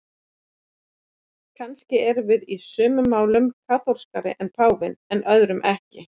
Kannski erum við í sumum málum kaþólskari en páfinn en öðrum ekki.